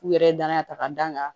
U yɛrɛ ye danaya ta ka d'a kan